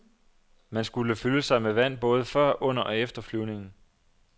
Man skulle fylde sig med vand både før, under og efter flyvningen.